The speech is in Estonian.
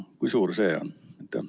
Kui suur see on?